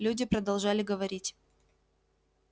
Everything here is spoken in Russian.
люди продолжали говорить